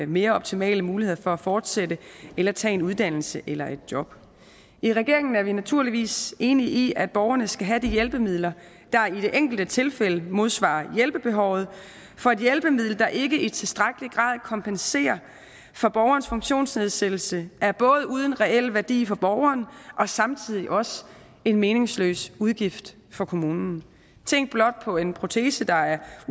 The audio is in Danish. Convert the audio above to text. mere optimale muligheder for at fortsætte eller tage en uddannelse eller et job i regeringen er vi naturligvis enige i at borgerne skal have de hjælpemidler der i det enkelte tilfælde modsvarer hjælpebehovet for et hjælpemiddel der ikke i tilstrækkelig grad kompenserer for borgerens funktionsnedsættelse er både uden en reel værdi for borgeren og samtidig også en meningsløs udgift for kommunen tænk blot på en protese der er